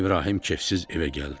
İbrahim kefsiz evə gəldi.